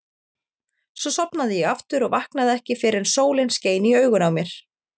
Svo sofnaði ég aftur og vaknaði ekki fyrr en sólin skein í augun á mér.